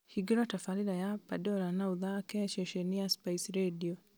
hingũra tabarĩra ya pandora na ũthaake ceceni ya spice rĩndiũ